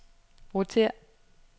rotér